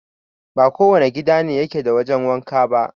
Ba kowane gida ne yake da wajen wanka ba